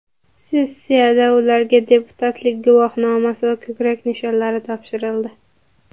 Sessiyada ularga deputatlik guvohnomasi va ko‘krak nishonlari topshirildi.